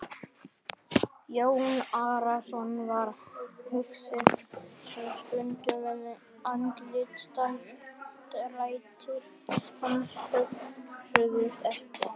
Jón Arason varð hugsi um stund og andlitsdrættir hans högguðust ekki.